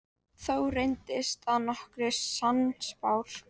Thor reyndist að nokkru sannspár.